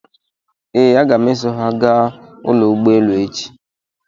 Ee, aga m eso ha gaa ụlọ ụgbọelu echi?